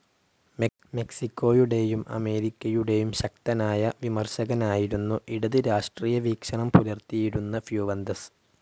മെക്‌സിക്കോയുടെയും അമേരിക്കയുടെയും ശക്തനായ വിമർശകനായിരുന്നു ഇടത് രാഷ്ട്രീയ വീക്ഷണം പുലർത്തിയിരുന്ന ഫ്യുവന്തസ്.